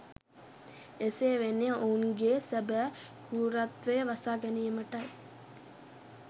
එසේ වෙන්නේ ඔවුනගේ සැබෑ කෘරත්වය වසා ගැනීමටයි